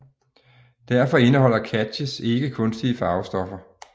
Derfor indeholder Katjes ikke kunstige farvestoffer